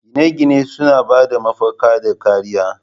Gine-gine suna ba da mafaka da kariya